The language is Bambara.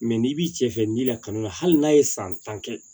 n'i b'i cɛ fɛ n'i lakalon la hali n'a ye san tan kɛ